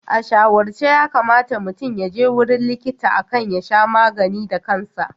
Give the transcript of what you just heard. A shawarce yakamata mutum yaje wurin likita akan ya sha magani da kansa.